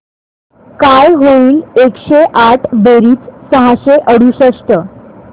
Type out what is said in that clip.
काय होईल एकशे आठ बेरीज सहाशे अडुसष्ट